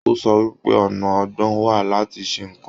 O sọ wípé ọna ọgbọ́n wà láti ṣe nnkan.